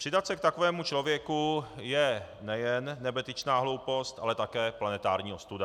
Přidat se k takovému člověku je nejen nebetyčná hloupost, ale také planetární ostuda.